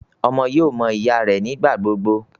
Ọmọ yóò mọ ìyá rẹ nigbagbogbo